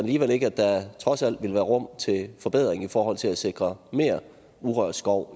alligevel ikke at der trods alt ville være rum til forbedring i forhold til at sikre mere urørt skov